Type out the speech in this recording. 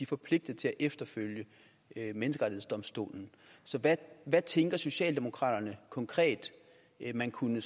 forpligtet til at følge menneskerettighedsdomstolen så hvad tænker socialdemokraterne konkret man kunne